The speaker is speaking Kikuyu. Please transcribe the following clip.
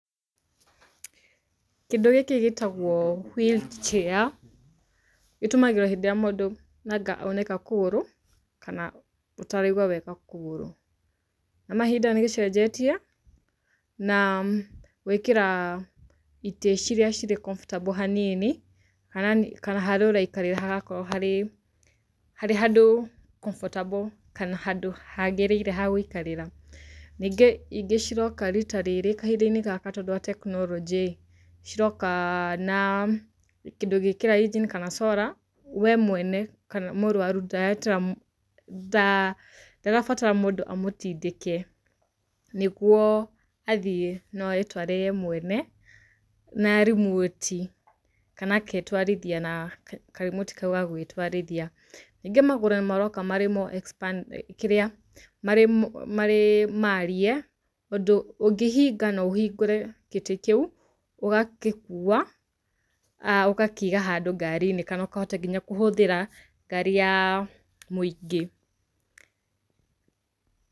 Kĩndũ gĩkĩ gĩtagwo wheel chair. Itũmagĩrwo hĩndĩ ĩrĩa mũndũ anga aunĩka kũgũrũ kana ataraigwa wega kũgũrũ. Kwa mahĩnda nĩgĩcenjetie na gwĩkĩra itĩ ciria cirĩ comfortable hanini kana ana haria ũraikarĩra hagaorwo har harĩ handũ comfortable kana handũ hagĩrĩire hagũikarĩra. Ningĩ ingĩ ciroka rita rĩrĩ kahinda-inĩ gaka tondũ wa tekinolojĩ-rĩ ciroka cina kĩndũ ũngĩkĩra engine kana solar we mwene kana mũrwaru ndareter mũ nda ndarabatara mũndũ amũtindĩke nĩguo athiĩ noeyetware we mwene na rimoti kana kana agetwarithia na karimoti kau ga gwĩtwarithia. Ningĩ magũrũ maroka me more expand kĩrĩa marĩ marĩ mariĩ ũndũ ũngĩhinga na ũhingũre gĩtĩ kĩu ũgagĩkuwa ũgakĩiga handũ ngari-inĩ kana ũkahota nginya kũhũthira ngari ya mũingĩ.